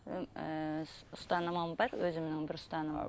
м ііі ұстанымым бар өзімнің бір ұстанымым